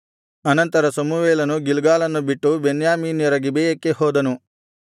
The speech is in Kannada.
ಅನಂತರ ಸಮುವೇಲನು ಗಿಲ್ಗಾಲನ್ನು ಬಿಟ್ಟು ಬೆನ್ಯಾಮೀನ್ಯರ ಗಿಬೆಯಕ್ಕೆ ಹೋದನು